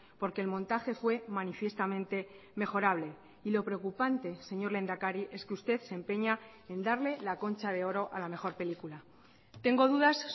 porque el montaje fue manifiestamente mejorable y lo preocupante señor lehendakari es que usted se empeña en darle la concha de oro a la mejor película tengo dudas